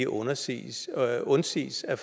undsiges undsiges af